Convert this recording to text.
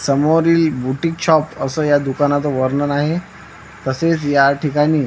समोरील boutique shop असं या दुकानात वर्णन आहे तसेच या ठिकाणी--